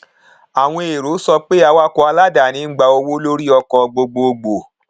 àwọn èrò sọ pé awakọ aláàdáni ń gba owó lórí ọkọ gbogbogbò